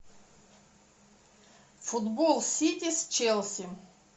футбол сити с челси